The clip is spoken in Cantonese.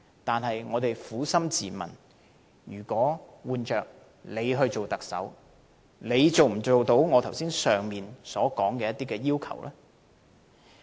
但是，我們撫心自問，如果換了自己當特首，能否做到上述要求呢？